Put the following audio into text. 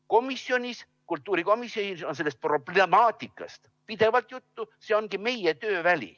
Komisjonis, kultuurikomisjonis, on sellest problemaatikast pidevalt juttu, see ongi meie tööväli.